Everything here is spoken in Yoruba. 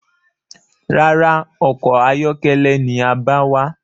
Rárá, ọkọ̀ ayọ́kẹ́lẹ́ ni a bá wá.